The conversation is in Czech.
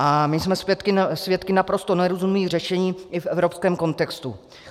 A my jsme svědky naprosto nerozumných řešení i v evropském kontextu.